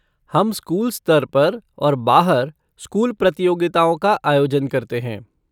हम स्कूल स्तर पर और बाहर स्कूल प्रतियोगिताओं का आयोजन करते हैं।